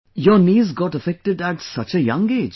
Your knees got affected at such a young age